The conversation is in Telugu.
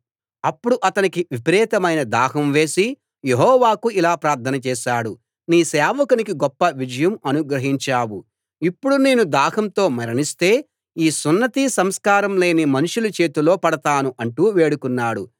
అప్పుడు అతనికి విపరీతమైన దాహం వేసి యెహోవాకు ఇలా ప్రార్థన చేశాడు నీ సేవకునికి గొప్ప విజయం అనుగ్రహించావు ఇప్పుడు నేను దాహంతో మరణిస్తే ఈ సున్నతి సంస్కారం లేని మనుషుల చేతిలో పడతాను అంటూ వేడుకున్నాడు